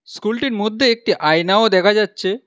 স্কুলটির মধ্যে একটি আয়নাও দেখা যাচ্ছে।